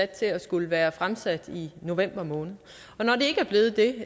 til at skulle være fremsat i november måned men når det ikke er blevet det